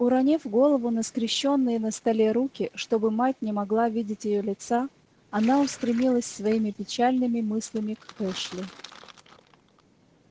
уронив голову на скрещённые на столе руки чтобы мать не могла видеть её лица она устремилась своими печальными мыслями к эшли